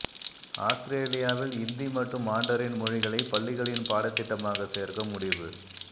ஆஸ்திரேலியாவில் இந்தி மற்றும் மாண்டரின் மொழிகளை பள்ளிகளின் பாடத்திட்டமாக சேர்க்க முடிவு